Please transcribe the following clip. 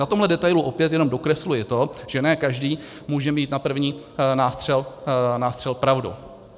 Na tomhle detailu opět jenom dokresluji to, že ne každý může mít na první nástřel pravdu.